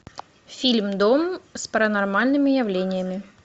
фильм дом с паранормальными явлениями